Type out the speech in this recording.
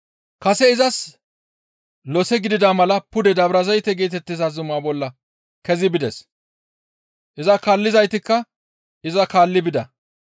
Kase izas lose gidida mala pude Dabrazayte geetettiza zuma bolla kezi bides. Iza kaallizaytikka iza kaalli bida.